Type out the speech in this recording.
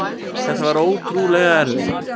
Þetta var ótrúlega erfitt.